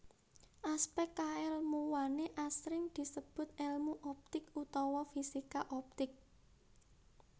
Aspèk kaèlmuwané asring disebut èlmu optik utawa fisika optik